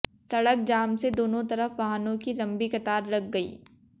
सड़क जाम से दोनों तरफ वाहनों की लंबी कतार लग गयी